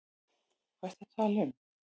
Hvað ertu þá að tala um?